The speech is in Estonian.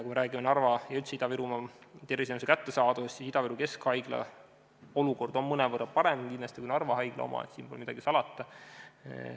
Kui me räägime Narva ja üldse Ida-Virumaa terviseteenuste kättesaadavusest, siis Ida-Viru keskhaigla olukord on kindlasti mõnevõrra parem kui Narva haigla oma, siin pole midagi salata.